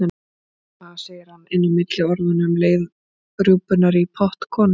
Ha, segir hann inn á milli orðanna um leið rjúpunnar í pott konunnar.